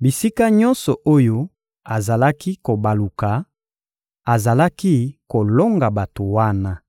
Bisika nyonso oyo azalaki kobaluka, azalaki kolonga bato wana.